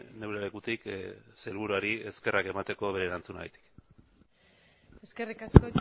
neure lekutik sailburuari eskerrak emateko bere erantzunagatik eskerrik asko